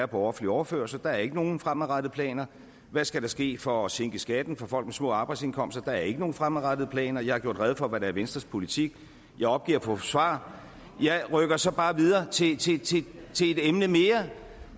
på offentlig overførsel der er ikke nogen fremadrettede planer hvad skal der ske for at sænke skatten for folk med små arbejdsindkomster der er ikke nogen fremadrettede planer jeg har gjort rede for hvad der er venstres politik jeg opgiver at få svar jeg rykker så bare videre til et emne mere